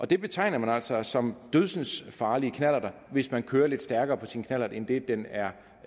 det betegnes altså som dødsensfarlige knallerter hvis man kører lidt stærkere på sin knallert end det den er